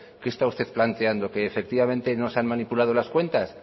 qué está usted planteando que efectivamente no se han manipulado las cuentas